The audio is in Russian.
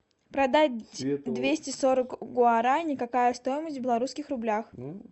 продать двести сорок гуарани какая стоимость в белорусских рублях